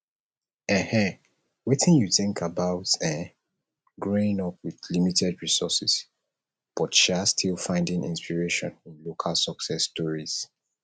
um wetin you think about um growing up with limited resources but um still finding inspiration in local success stories